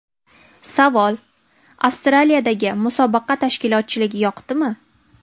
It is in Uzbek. Savol: Avstraliyadagi musobaqa tashkilotchiligi yoqdimi?